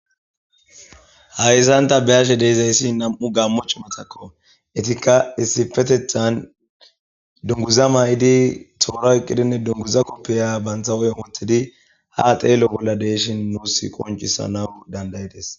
Hayisan ta beashe dizayisi na'mu gamo ci'matako etika issippetetani dunguza mayidinne tora oyikidi dunguza kopiya banta huphen wotidi ha xelo bola de'ishin nusi qonc'isanawu dandayides